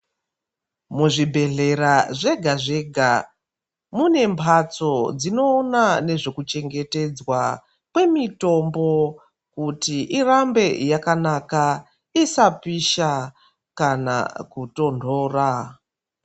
Mu zvibhedhlera zvega zvega mune mbatso dzinoona nezve kuchengetedzwa kwe mitombo kuti irambe yakanaka isa pisha kana ku tondora.